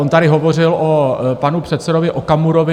On tady hovořil o panu předsedovi Okamurovi.